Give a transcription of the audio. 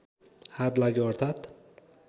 हात लाग्यो अर्थात्